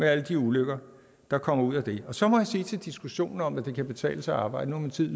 er alle de ulykker der kommer ud af det så må jeg sige noget til diskussionen om at det kan betale sig at arbejde min tid